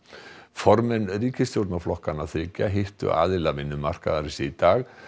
formenn ríkisstjórnarflokkanna þriggja hittu aðila vinnumarkaðarins í dag